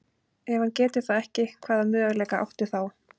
Ef hann getur það ekki, hvaða möguleika áttu þá?